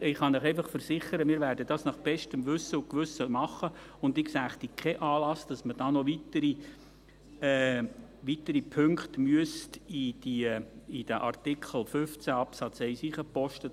Ich kann Ihnen versichern, wir werden das nach bestem Wissen und Gewissen machen, und ich sehe keinen Anlass, weswegen man noch weitere Punkte in Artikel 15 Absatz 1 aufnehmen müsste.